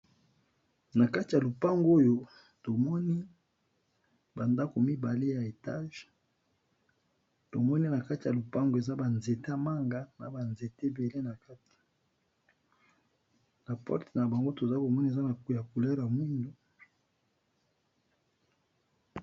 Nakati ya lopango oyo tomoni ba ndako mibale ya Etage tomoni nakati ba nzete ya manga na ba nzete ebele na porte tomoni eza na couleur ya mwindu